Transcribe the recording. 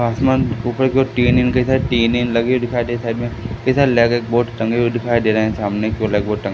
आसमान ऊपर की ओर टीन टीन लगे दिखाई दे रहे साइड एक ब्लैक बोर्ड टंगे हुए दिखाई दे रहे हैं सामने की ओर टंगे--